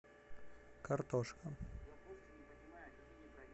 картошка